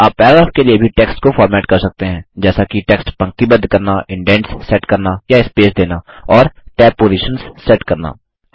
आप पैराग्राफ के लिए भी टेक्स्ट को फॉर्मेट कर सकते हैं जैसा कि टेक्स्ट पंक्तिबद्ध करना इंडैट्स सेट करना या स्पेस देना और टैब पॉजिशन्स सेट करना